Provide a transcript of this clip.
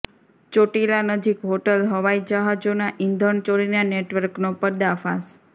ચોટીલા નજીક હોટલ હવાઈ જહાજોના ઈંધણ ચોરીના નેટવર્કનો પર્દાફાશ